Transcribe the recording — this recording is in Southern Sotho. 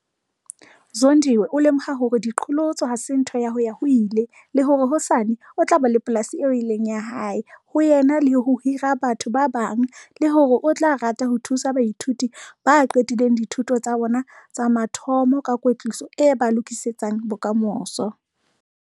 Zondiwe o lemoha hore diqholotso ha se ntho ya ho-ya-ho-ile le hore hosane o tla ba le polasi eo e leng ya hae ho ena le ho hira ho batho ba bang le hore o tla rata ho thusa baithuti ba qetileng dithuto tsa bona tsa mathomo ka kwetliso e ba lokisetsang bokamoso.